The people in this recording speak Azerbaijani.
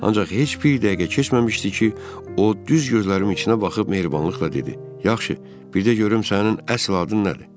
Ancaq heç bir dəqiqə keçməmişdi ki, o düz gözlərimin içinə baxıb mehribanlıqla dedi: Yaxşı, bir də görüm sənin əsl adın nədir?